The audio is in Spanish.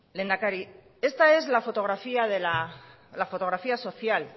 lehendakari esta es la fotografía social